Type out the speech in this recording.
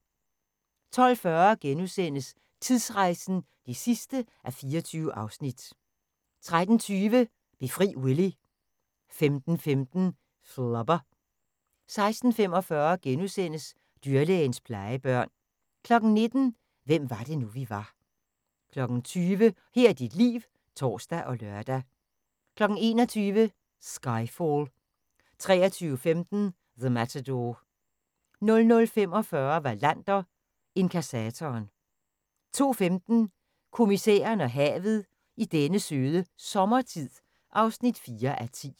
12:40: Tidsrejsen (24:24)* 13:20: Befri Willy 15:15: Flubber 16:45: Dyrlægens plejebørn * 19:00: Hvem var det nu, vi var 20:00: Her er dit liv (tor og lør) 21:00: Skyfall 23:15: The Matador 00:45: Wallander: Inkassatoren 02:15: Kommissæren og havet: I denne søde sommertid (4:10)